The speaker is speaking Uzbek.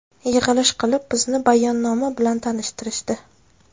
Yig‘ilish qilib, bizni bayonnoma bilan tanishtirishdi.